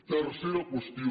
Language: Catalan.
tercera qüestió